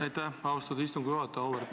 Aitäh, austatud istungi juhataja!